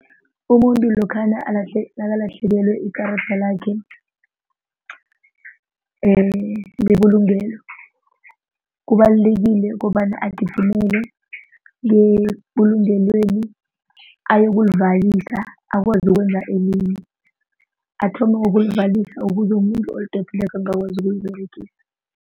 Umuntu lokhana alahle nakalahlekelwe likarada lakhe lebulungelo kubalulekile kobana agijimele ngebulungelweni ayokulivalisa akwazi ukwenza elinye athome ngokulivalisa ukuze umuntu olidobhileko angakwazi ukuliberegisa.